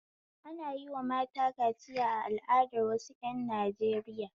Ana yi wa mata kaciya a al'adar wasu ƴan Najeriya